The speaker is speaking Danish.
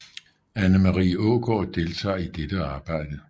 Anna Marie Aagaard deltaget i dette arbejde